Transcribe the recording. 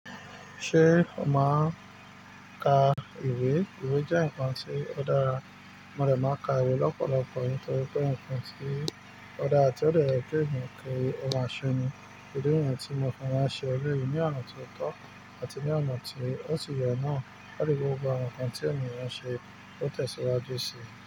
Ṣé o máa ń ka ìwé? Ìwé jẹ́ ǹkan tí ó dára, mo dẹ̀ máa ń ka ìwé lọ́pọ̀lọpọ̀ nítorí pé ǹkan tí ó dára tí ó dẹ̀ yẹ kí ènìyàn kí ó máa ṣe ni. Ìdí nìyẹn tí mo fẹ́ máa ń ṣe eléyìí ní ọ̀nà tí ó tọ́ àti ní ọ̀nà tí ó ti sì yẹ náà, láti jẹ́ kí gbogbo àwọn ǹkan tí ènìyàn ṣe kó tẹ̀síwájú sí.